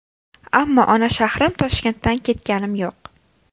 Ammo ona shahrim Toshkentdan ketganim yo‘q.